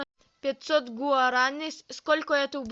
пятьсот гуарани сколько это